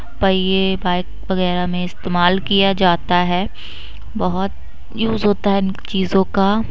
bike वगैरा में इस्तेमाल किया जाता है बहुत यूज होता है इन चीजों का--